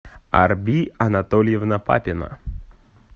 арби анатольевна папина